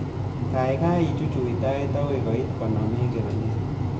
Gaigai ichuchuch tait agoi koit konom eng kebenet